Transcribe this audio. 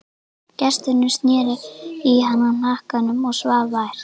Gesturinn sneri í hana hnakkanum og svaf vært.